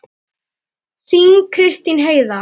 Þín Kristín Heiða.